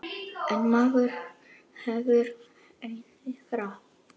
En maður hefur einhver ráð.